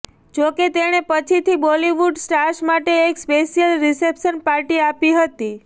જો કે તેણે પછીથી બોલીવુડ સ્ટાર્સ માટે એક સ્પેશિયલ રિસેપ્શન પાર્ટી આપી હતી